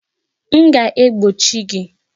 M ga-egbochi gị!